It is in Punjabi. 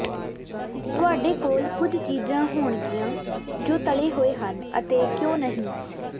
ਤੁਹਾਡੇ ਕੋਲ ਕੁਝ ਚੀਜ਼ਾਂ ਹੋਣਗੀਆਂ ਜੋ ਤਲੇ ਹੋਏ ਹਨ ਅਤੇ ਕਿਉਂ ਨਹੀਂ